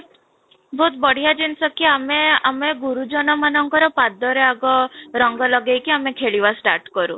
ବହୁତ ବଢିଆ ଜିନିଷ କି ଆମେ ଆମେ ଗୁରୁଜନ ମାନଙ୍କର ଆଗ ରଙ୍ଗ ଲଗେଇକି ଆମେ ଖେଳିବା start କରୁ